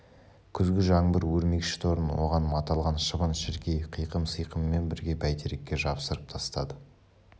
күзгі жаңбыр өрмекші торын оған маталған шыбын-шіркей қиқым-сиқымымен бірге бәйтерекке жапсырып тастады